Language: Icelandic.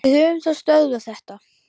Við höfum þá stöðvað þetta.